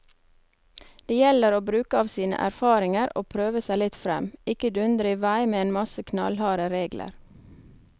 Det gjelder å bruke av sine erfaringer og prøve seg litt frem, ikke dundre i vei med en masse knallharde regler.